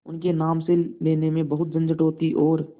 उनके नाम से लेने में बहुत झंझट होती और